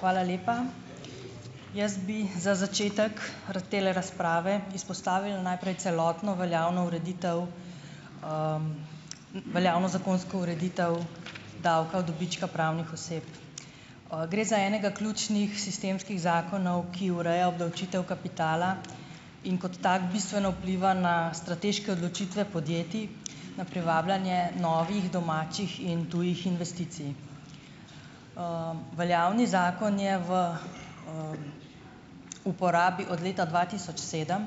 Hvala lepa. Jaz bi za začetek tele razprave izpostavila najprej celotno veljavno ureditev, veljavno zakonsko ureditev davka od dobička pravnih oseb. Gre za enega ključnih sistemskih zakonov, ki ureja obdavčitev kapitala in kot tak bistveno vpliva na strateške odločitve podjetij, na privabljanje novih domačih in tujih investicij. Veljavni zakon je v, uporabi od leta dva tisoč sedem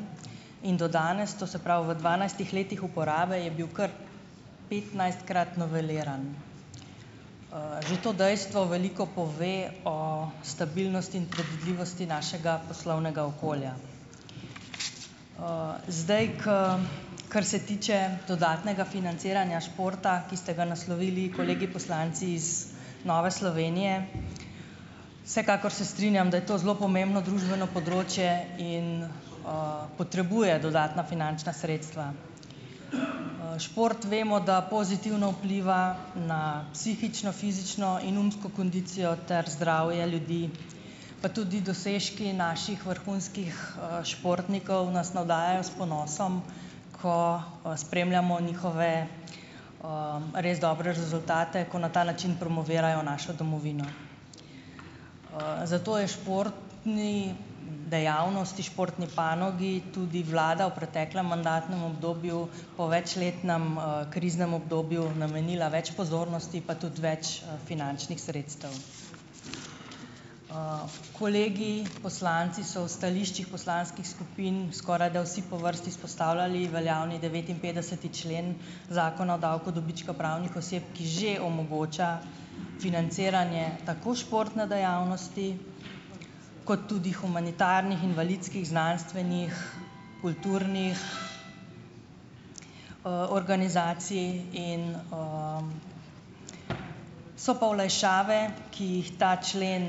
in do danes, to se pravi v dvanajstih letih uporabe je bil kar petnajstkrat noveliran. Že to dejstvo veliko pove o stabilnosti in predvidljivosti našega poslovnega okolja. Zdaj ke ... Kar se tiče dodatnega financiranja športa, ki ste ga naslovili kolegi poslanci iz Nove Slovenije, vsekakor se strinjam, da je to zelo pomembno družbeno področje in, potrebuje dodatna finančna sredstva. Šport vemo, da pozitivno vpliva na psihično, fizično in umsko kondicijo ter zdravje ljudi, pa tudi dosežki naših vrhunskih, športnikov nas navdajajo s ponosom, ko, spremljamo njihove, res dobre rezultate, ko na ta način promovirajo našo domovino. Zato je športni dejavnosti, športni panogi tudi vlada v preteklem mandatnem obdobju po večletnem, kriznem obdobju namenila več pozornosti, pa tudi več, finančnih sredstev. Kolegi poslanci so v stališčih poslanskih skupin skorajda vsi po vrsti izpostavljali veljavni devetinpetdeseti člen Zakona o davku dobička pravnih oseb, ki že omogoča financiranje tako športne dejavnosti kot tudi humanitarnih, invalidskih, znanstvenih, kulturnih, organizacij. In, So pa olajšave, ki jih ta člen,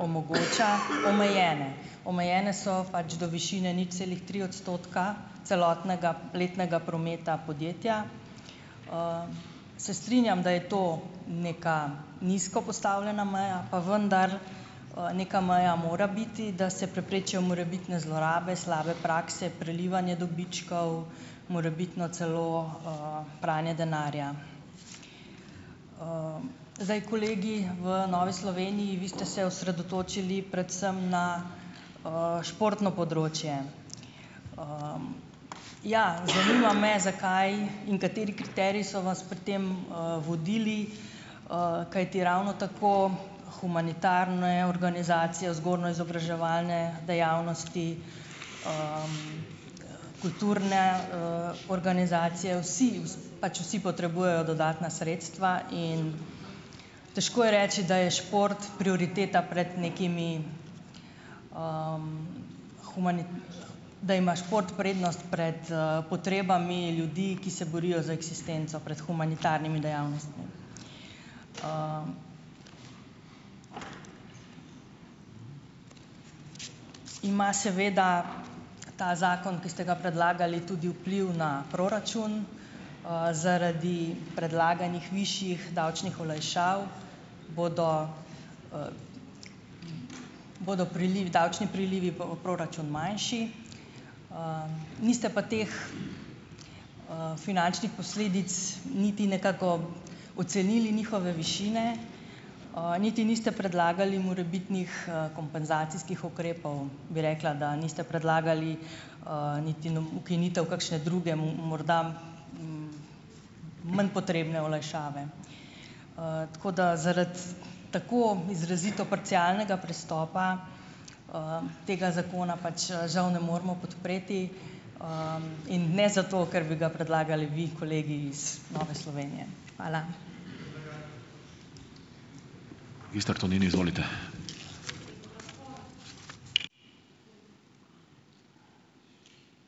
omogoča, omejene. Omejene so pač do višine nič celih tri odstotka celotnega letnega prometa podjetja. Se strinjam, da je to neka nizko postavljena meja, pa vendar, neka meja mora biti, da se preprečijo morebitne zlorabe, slabe prakse, prelivanje dobičkov, morebitno celo, pranje denarja. Zdaj, kolegi v Novi Sloveniji, vi ste se osredotočili predvsem na, športno področje. Ja, zanima me zakaj in kateri kriteriji so vas pri tem, vodili, kajti ravno tako humanitarne organizacije, vzgojno-izobraževalne dejavnosti, kulturne, organizacije, vsi pač, vsi potrebujejo dodatna sredstva in težko je reči, da je šport prioriteta pred nekimi, da ima šport prednost pred, potrebami ljudi, ki se borijo za eksistenco pred humanitarnimi dejavnostmi. Ima seveda ta zakon, ki ste ga predlagali, tudi vpliv na proračun. Zaradi predlaganih višjih davčnih olajšav bodo, bodo prilivi, davčni prilivi pa bo proračun manjši. Niste pa teh, finančnih posledic niti nekako ocenili njihove višine, niti niste predlagali morebitnih, kompenzacijskih ukrepov, bi rekla, da niste predlagali, niti ukinitev kakšne druge, morda manj potrebne olajšave. Tako da, zaradi tako izrazito parcialnega pristopa, tega zakona pač žal ne moremo podpreti, in ne zato, ker bi ga predlagali vi, kolegi iz Nove Slovenije. Hvala.